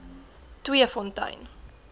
tweefontein